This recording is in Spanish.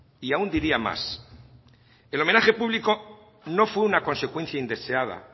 y aún diría más el homenaje público no fue una consecuencia indeseada